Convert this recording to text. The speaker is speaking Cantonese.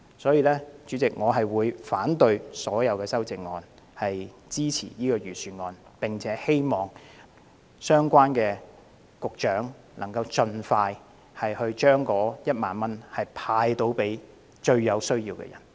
因此，我會反對所有修正案，支持預算案，並且希望相關局長能夠盡快向最有需要的人派發1萬元。